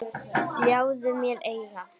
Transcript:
Ljáðu mér eyra.